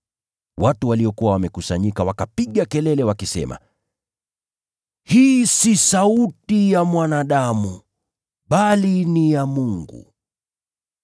Watu waliokuwa wamekusanyika wakapiga kelele, wakisema, “Hii si sauti ya mwanadamu, bali ni ya Mungu.”